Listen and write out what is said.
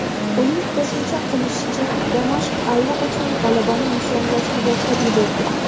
Uning qo‘shimcha qilishicha, Damashq allaqachon g‘alabani nishonlashni boshlab yuborgan .